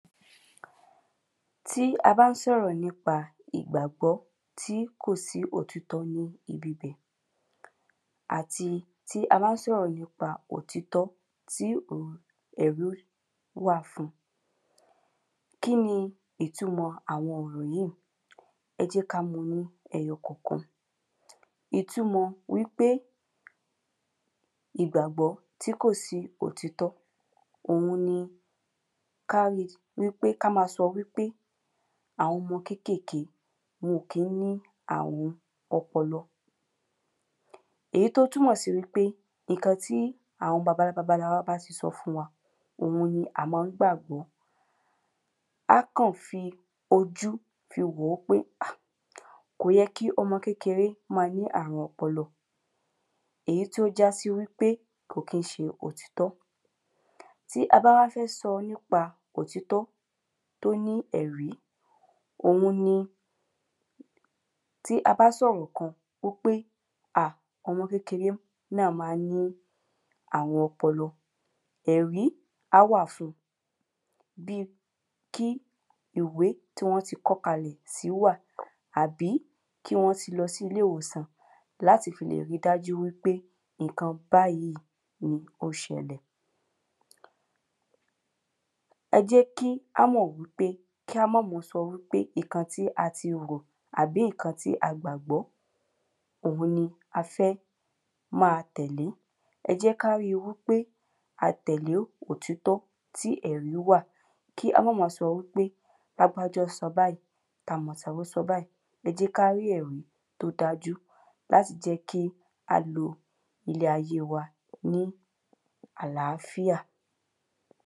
tí a bá sọ̀rọ̀ nípa ìgbàgbọ́ tí kò sí òtítọ ní ibi bẹ̀ àti tí a bá sọ̀rọ̀ nípa òtítọ tí ẹ̀rí wà fun kí ni ítumọ àwọn ọ̀rọ̀ yíì ẹ jẹ́ ká mu ní ẹyọ kọ̀kan ítumọ wípé ìgbàgbọ́ tí kò sí òtítọ òun ni ká ri wípé ká ma sọ wípé àwọn ọmọ kékèké wọn ò kín ni àrun ọpọlọ èyí tó túnmọ̀ sí wípé ìkan tí àwọn baba ńlá wa bá ti sọ fún wa òun ni a má ń gbàgbọ́ á kàn fi ojú fi wòó pé hà kò yẹ kí ọmọ kékeré ma ní àrun ọpọlọ èyí tí ó jásí wípé kò kí ń ṣe òtítọ́ tí a bá wa fẹ́ sọ nípa òtítọ́ tó ní ẹ̀rí òun ni tí a bá sọ̀rọ̀ kan wípé ọmọ kékeré náà má ń ní àrun ọpọlọ ẹ̀rí á wà fun bíi kí ìwé tí wọ́n ti kọ́ kalẹ̀ sí wà àbí kí wọ́n ti lọ si ilé ìwòsàn láti lè ri dájú wípé iǹkan báyí pé óṣẹlẹ̀ ẹ jẹ́ kí ámọ̀ wípé kí á má ma sọ wípé iǹkan tí a ti rò àbí ǹkan tí a gbàgbọ́ òun ni a fẹ́ máa tẹ̀lé ẹ jẹ́ ká ri pé à tẹ̀lé òtítọ́ ti èrí wà kí á má ma sọ wípé lágbájá sọ báyí tàmọ̀tí sọ báyí ẹ jẹ́ ká rí èrí tó dájú láti jẹ́kí a le ilé ayé wà ní àláfíà